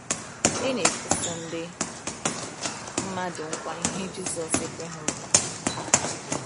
Ị na-ekwusi ndị mmadụ nkwa ihe Jisọs ekweghị nkwa ha?